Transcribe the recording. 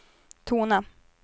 tona